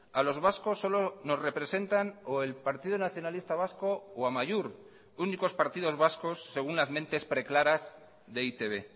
a los vascos solo nos representan o el partido nacionalista vasco o amaiur únicos partidos vascos según las mentes preclaras de e i te be